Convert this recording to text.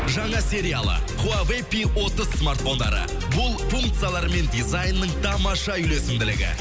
жаңа сериалы хуавэй пи отыз смартфондары бұл функциялар мен дизайнның тамаша үйлесімділігі